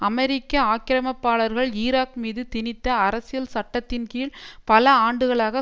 அமெரிக்க ஆக்கிரமிப்பாளர்கள் ஈராக் மீது திணித்த அரசியல் சட்டத்தின் கீழ் பல ஆண்டுகளாக